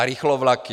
A rychlovlaky.